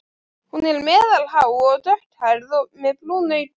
Hún er meðalhá og dökkhærð með brún augu.